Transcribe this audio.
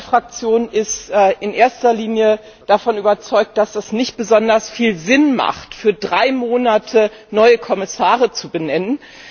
Meine Fraktion ist in erster Linie davon überzeugt, dass es nicht besonders viel Sinn hat, für drei Monate neue Kommissare zu benennen.